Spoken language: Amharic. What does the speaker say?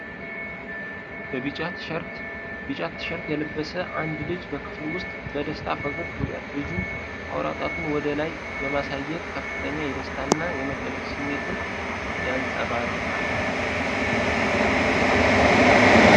ቢጫ ቲሸርት የለበሰ አንድ ልጅ በክፍል ውስጥ በደስታ ፈገግ ብሏል። ልጁ አውራ ጣቱን ወደ ላይ በማሳየት ከፍተኛ የደስታና የመደነቅ ስሜትን ያንጸባርቃል።